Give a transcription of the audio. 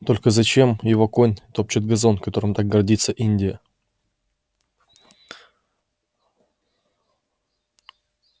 только зачем его конь топчет газон которым так гордится индия